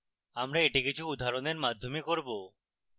আমরা এটি কিছু উদাহরণের মাধ্যমে করব